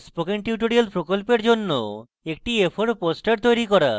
spoken tutorial প্রকল্পের জন্য একটি a4 poster তৈরী করুন